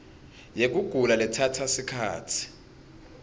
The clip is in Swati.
yekugula lekutsatsa sikhatsi